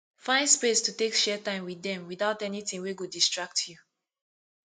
find space to take share time wit dem witout anytin wey go distract yu